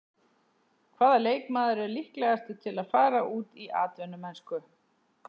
Hvaða leikmaður er líklegastur til að fara út í atvinnumennsku?